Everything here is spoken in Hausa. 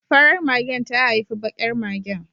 Farar magen ta haifi bakar magen